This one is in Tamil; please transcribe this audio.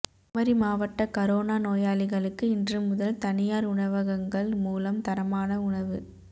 குமரி மாவட்ட கரோனா நோயாளிகளுக்கு இன்று முதல் தனியாா் உணவகங்கள் மூலம் தரமான உணவு